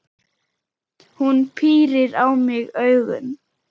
Hún pírir á mig augun.